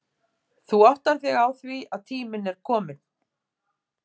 Þú áttar þig á því að tíminn er kominn